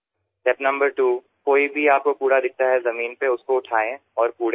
দ্বিতীয় ধাপ মাটিতে যদি কোন ময়লা পড়ে থাকে সেটা তুলে নিয়ে গিয়ে আবর্জনা ফেলার পাত্রে ফেলুন